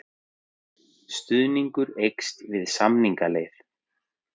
Stuðningur eykst við samningaleið